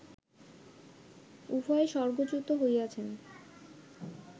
উভয়েই স্বর্গচ্যুত হইয়াছেন